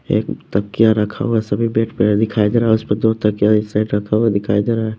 एक तकिया रखा हुआ है सभी बेड पे दिखाई दे रहा है उसपे दो तकिया इस साइड रखा हुआ है दिखाई दे रहा है।